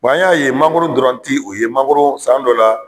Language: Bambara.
an y'a ye mangoro dɔrɔn ti o ye mangoro san dɔ la.